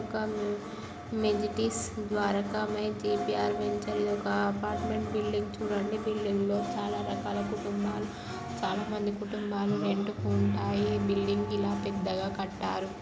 ఒక majestic Dwarakamayi by G P R ventures ఇది ఒక అపార్ట్మెంట్ బిల్డింగ్ చుడండి బిల్డింగ్ లో చాల రకాల కుటుంబాలు చాల మంది కుటుంబాలు రెంట్ కి ఉంటాయి బిల్డింగ్ ఇలా పెద్ద గ కట్టారు